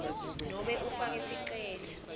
nobe ufake sicelo